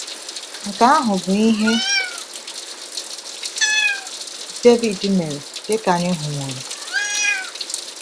Nke ahụ bụ ihe Devid mere, dịka anyị hụworo.